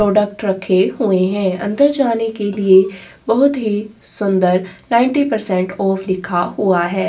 Product रखे हुए हैं अंदर जाने के लिए बहुत ही सुंदर नाइनटी परसेंट ऑफ लिखा हुआ है।